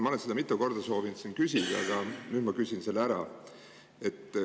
Ma olen seda mitu korda soovinud siin küsida, aga nüüd ma küsin selle ära.